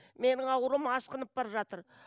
менің ауруым асқынып бара жатыр